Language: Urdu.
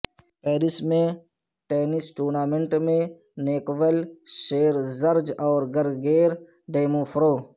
پیرس میں ٹینس ٹورنامنٹ میں نیکول شیرزجر اور گرگیر ڈیموفرو